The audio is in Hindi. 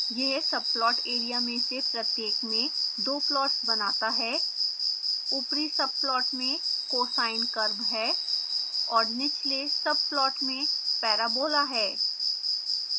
यह subplot एरिया में से प्रत्येक में दो प्लॉट्स बनाता है ऊपरी subplot में cosine curve है और निचले subplot में parabola है